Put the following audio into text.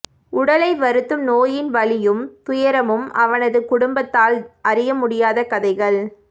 உடலை வருத்தும் நோயின் வலியும் துயரமும் அவனது குடும்பத்தால் அறிய முடியாத கதைகள்